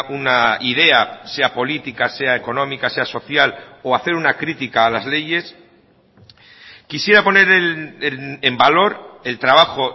una idea sea política sea económica sea social o hacer una crítica a las leyes quisiera poner en valor el trabajo